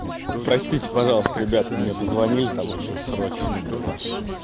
простите пожалуйста ребятки мне позвонили там очень срочно было